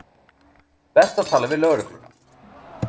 Best að tala við lögregluna.